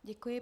Děkuji.